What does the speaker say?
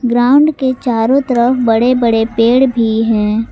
Ground के चारों तरफ बड़े बड़े पेड़ भी हैं।